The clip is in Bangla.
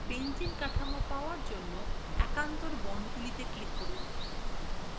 benzene কাঠামো পাওয়ার জন্য বিকল্প বন্ডগুলিতে click করুন